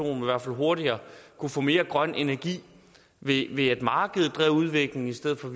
i hvert fald hurtigere kunne få mere grøn energi ved at markedet drev udviklingen i stedet for